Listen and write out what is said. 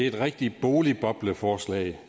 et rigtigt boligbobleforslag